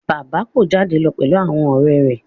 Bàbá yóò jáde lọ pẹ̀lú àwọn ọ̀rẹ́ rẹ̀